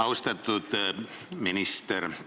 Austatud minister!